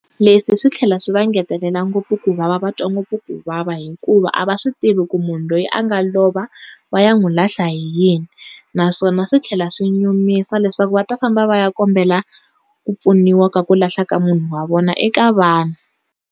Leswi swi tlhela swi va ngetelela ngopfu kuvava va twa ngopfu kuvava hikuva a va swi tivi ku munhu loyi a nga lova va ya n'wi lahla hi yini, naswona swi tlhela swi nyumisa leswaku va ta famba va ya kombela ku pfuniwa ku lahla ka munhu wa vona eka vanhu.